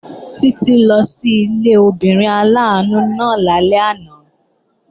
Títí lọ sí ilé obìnrin aláàánú náà lálẹ́ àná